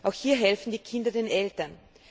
Auch hier helfen die Kinder den Eltern.